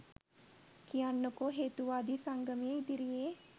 කියන්නකො හේතුවාදී සංගමය ඉදිරියේ